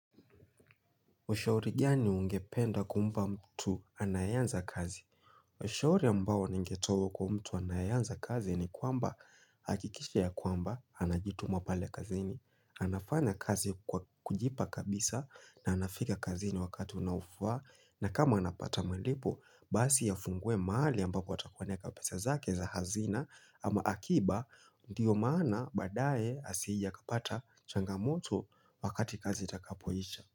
Ushauri gani ungependa kumpa mtu anayeanza kazi? Ushauri ambao ningetoa kwa mtu anayeanza kazi ni kwamba hakikisha ya kwamba anajituma pale kazini. Anafanya kazi kwa kujipa kabisa na anafika kazini wakati unaofaa na kama anapata malipo, basi afungue mahali ambapo atakapoweka pesa zake za hazina ama akiba ndiyo maana baadaye asije akapata changamoto wakati kazi itakapoisha.